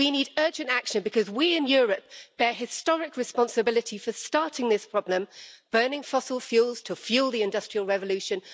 We need urgent action because we, in Europe, bear historic responsibility for starting this problem, burning fossil fuels to fuel the industrial revolution.